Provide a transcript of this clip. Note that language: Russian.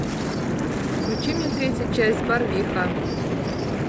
включи мне третью часть барвиха